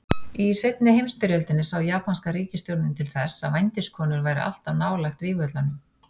Í seinni heimsstyrjöldinni sá japanska ríkisstjórnin til þess að vændiskonur væru alltaf nálægt vígvöllunum.